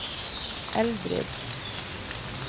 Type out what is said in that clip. Eldrid